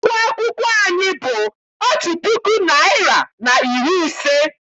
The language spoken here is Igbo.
Ụgwọ akwụkwọ anyị bụ puku naịra na iri ise.